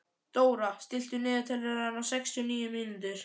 Dóra, stilltu niðurteljara á sextíu og níu mínútur.